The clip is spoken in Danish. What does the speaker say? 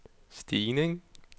stigning